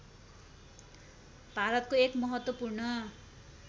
भारतको एक महत्त्वपूर्ण